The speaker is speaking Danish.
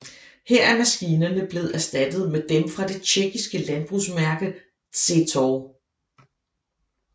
Her er maskinerne blevet erstattet med dem fra det tjekkiske landbrugsmærke Zetor